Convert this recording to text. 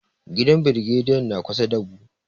Gidan brigediyan na kusa da mu.